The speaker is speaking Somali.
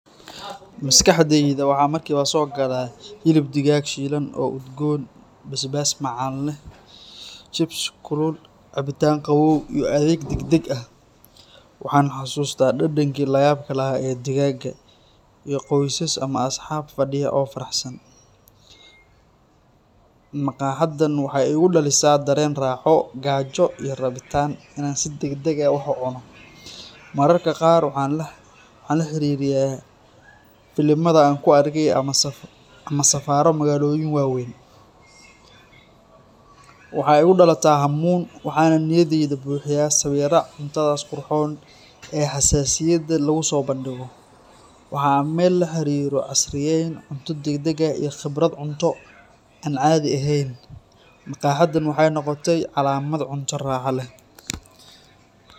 Maskaxddeyda maxa markiba so galaa xilib digaaag shilan iyo chipsi kulul, maskaxdaydu si degdeg ah ayay ugu degtaa dareen xiiso iyo rabitaan. Waxa markiiba igu soo dhacaya dhadhanka macaan, urta udgoon ee ka soo baxaysa cuntada kulul, iyo xusuus raaxo leh oo laga yaabo inay la xiriiraan waqtiyo farxad leh sida firaaqada asxaabta ama nasasho maalmeedka. Dareenkaasi waxa uu tusayaa sida maskaxdu uga falceliso cuntooyinka la jecel yahay, iyadoo ay suuragal tahay in xitaa jidhku bilaabo inuu dareemo gaajo ama afku bilaabo inuu dheecaamayo. Tani waa tusaale muuqda oo muujinaya sida xusuusta, dhadhanka, iyo dareenka ay isugu xiran yihiin, cunto raxo leh.